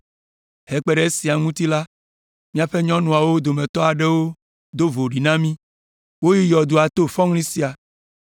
Hekpe ɖe esia ŋuti la, míaƒe nyɔnuawo dometɔ aɖewo do voɖi na mí. Woyi yɔdoa to fɔŋli sia